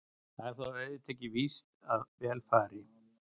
Það er þó auðvitað ekki víst að vel fari.